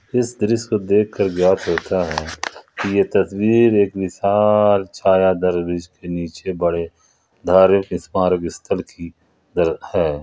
इस दृश्य को देखकर ज्ञात होता है ये तस्वीर एक विशाल छायादर वृक्ष के नीचे बड़े धार्मिक स्मारक स्थल की है।